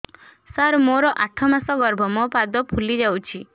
ସାର ମୋର ଆଠ ମାସ ଗର୍ଭ ମୋ ପାଦ ଫୁଲିଯାଉଛି